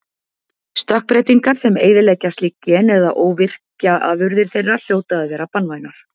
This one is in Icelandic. Stökkbreytingar sem eyðileggja slík gen eða óvirkja afurðir þeirra hljóta að vera banvænar.